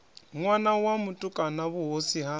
ṋwana wa mutukana vhuhosi ha